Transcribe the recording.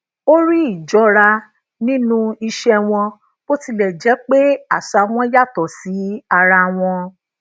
ó ri ijọra nínú ìse wọn bó tilè jé pé àṣà wọn yàtò sí ara wọn